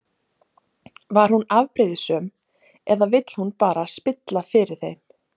Var hún afbrýðisöm eða vill hún bara spilla fyrir þeim?